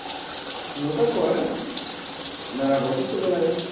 ну такое на работу собираюсь